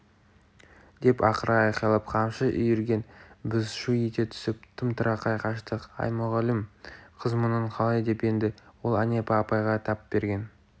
деп ақыра айқайлап қамшы үйірген біз шу ете түсіп тым-тырақай қаштық әй мұғалім қыз мұның қалай деп енді ол әнипа апайға тап берген